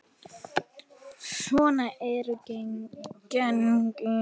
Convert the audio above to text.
Svona eru genin.